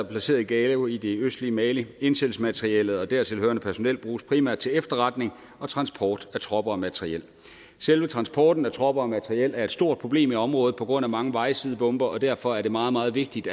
placeret i gao i det østlige mali indsættelsesmaterialet og det dertil hørende personel bruges primært til efterretning og transport af tropper og materiel selve transporten af tropper og materiel er et stort problem i området på grund af mange vejsidebomber og derfor er det meget meget vigtigt